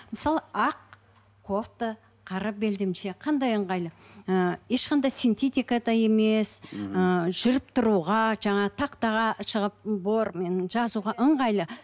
мысалы ақ кофта қара белдемше қандай ыңғайлы ы ешқандай синтетика да емес ыыы жүріп тұруға жаңа тақтаға шығып бор жазуға ыңғайлы